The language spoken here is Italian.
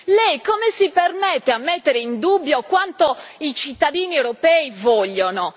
Lei come si permette di mettere in dubbio quanto i cittadini europei vogliono?